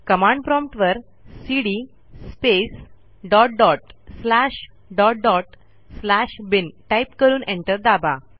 command prompt वरcd space dot dot slash dot dot slash bin type करून enter दाबा